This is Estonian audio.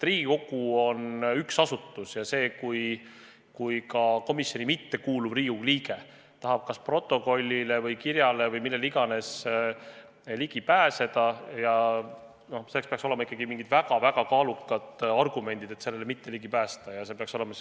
Riigikogu on üks asutus ja selleks, kui komisjoni mitte kuuluv Riigikogu liige tahab kas protokollile või kirjale või millele iganes ligi pääseda, peaks olema ikkagi mingid väga-väga kaalukad argumendid, kui seda ligipääsu ei võimaldata.